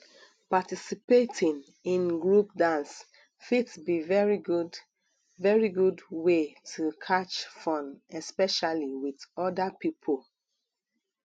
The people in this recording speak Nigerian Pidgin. participating in group dance fit be very good very good wey to catch fun especially with oda pipo